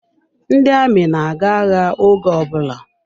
Ndị amị na-aga agha oge ọbụla.